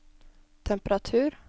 temperatur